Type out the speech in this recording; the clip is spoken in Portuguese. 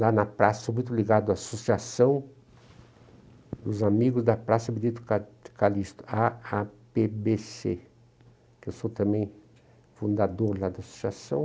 Lá na praça, sou muito ligado à Associação dos Amigos da Praça Benito ca Calixto, á á pê bê cê, que eu sou também fundador lá da associação.